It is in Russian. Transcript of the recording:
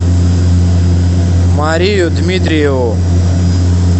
марию дмитриеву